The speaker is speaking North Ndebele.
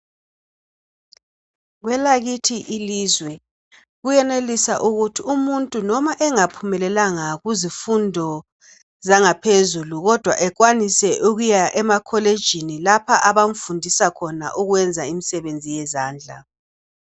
Kwelakithi ilizwe kuyenelisa ukuthi umuntu noma engaphumelelanga kuzifundo zangaphezulu kodwa ekwanise ukuya emakolitshini lapha abamfundisa khona ukwenza imisebenzi yezandla.